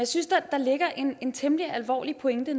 synes at der ligger en temmelig alvorlig pointe